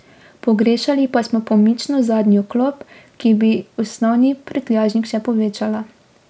Pogrešali pa smo pomično zadnjo klop, ki bi osnovni prtljažnik še povečala.